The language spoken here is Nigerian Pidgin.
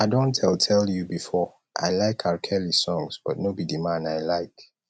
i don tell tell you before i like rkelly songs but no be the man i like